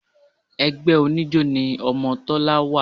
Ẹgbẹ́ oníjó ni ọmọ Tọ́lá wà